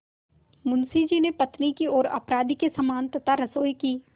मुंशी जी ने पत्नी की ओर अपराधी के समान तथा रसोई की